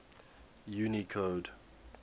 unicode